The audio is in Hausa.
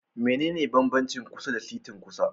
Mene ne banbanci kusa da setin kusa?